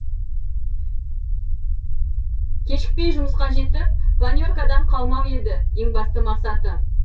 кешікпей жұмысқа жетіп планеркадан қалмау еді ең басты мақсаты